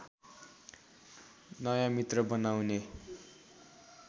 नयाँ मित्र बनाउने